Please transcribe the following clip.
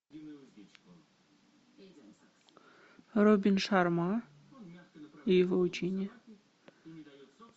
робин шарма и его учения